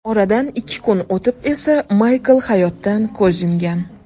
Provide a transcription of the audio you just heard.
Oradan ikki kun o‘tib esa Maykl hayotdan ko‘z yumgan.